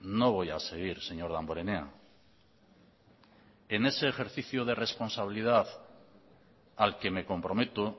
no voy a seguir señor damborenea en ese ejercicio de responsabilidad al que me comprometo